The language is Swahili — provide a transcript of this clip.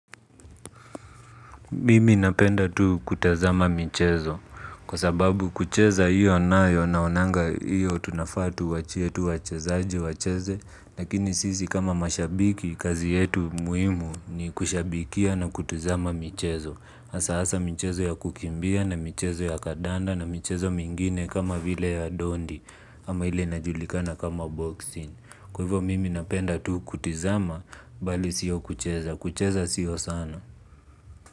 Mimi napenda tu kutazama michezo kwa sababu kucheza hiyo nayo naonanga hiyo tunafaa tuachie tu wachezaji wacheze lakini sisi kama mashabiki kazi yetu muhimu ni kushabikia na kutizama michezo asa asa michezo ya kukimbia na michezo ya kadanda na michezo mingine kama vile ya dondi ama ile inajulikana kama boxing kwa hivo mimi napenda tu kutizama bali sio kucheza, kucheza sio sana.